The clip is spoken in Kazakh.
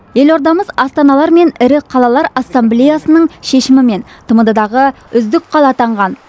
елордамыз астаналар мен ірі қалалар ассамблеясының шешімімен тмд дағы үздік қала атанған